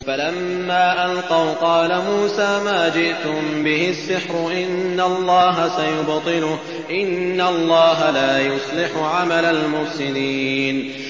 فَلَمَّا أَلْقَوْا قَالَ مُوسَىٰ مَا جِئْتُم بِهِ السِّحْرُ ۖ إِنَّ اللَّهَ سَيُبْطِلُهُ ۖ إِنَّ اللَّهَ لَا يُصْلِحُ عَمَلَ الْمُفْسِدِينَ